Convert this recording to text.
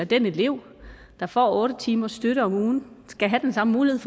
den elev der får otte timers støtte om ugen skal have den samme mulighed